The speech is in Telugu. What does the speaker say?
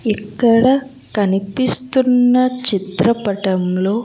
ఇక్కడ కనిపిస్తున్న చిత్రపటంలో.